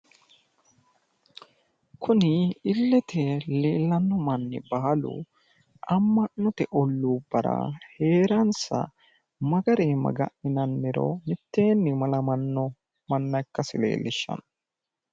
Kuni illete leellanno mannu baalu amma'note olluubara heeransa ma garii maga'ninanniro mitteenni malamanno manna ikkasi leellishshanno.